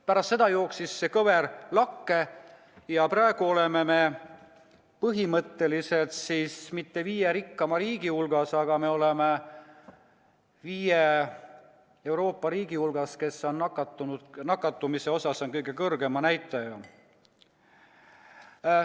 Pärast seda jooksis see kõver lakke ja praegu ei ole me põhimõtteliselt mitte viie rikkama riigi hulgas, vaid me oleme viie Euroopa riigi hulgas, kes on nakatumise poolest kõige kõrgema näitajaga.